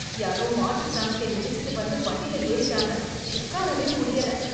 யாரோ மாட்டு சாணத்தை மிதிச்சிட்டு வந்து, வண்டியில ஏறிட்டாங்க உட்காரவே முடியல.